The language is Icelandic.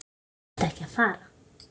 Þú þarft ekki að fara